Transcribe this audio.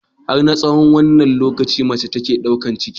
Har na tsahon wanne lokaci mace take ɗaukan ciki?